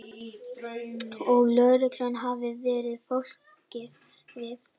Og lögreglan hafi varað fólk við